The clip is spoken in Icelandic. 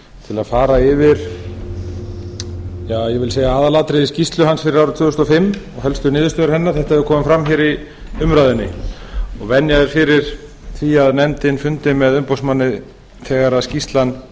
til að fara yfir aðalatriði skýrslu hans fyrir árið tvö þúsund og fimm og helstu niðurstöður hennar þetta hefur komið fram hér í umræðunni venja er fyrir því að nefndin fundi með umboðsmanni þegar skýrslan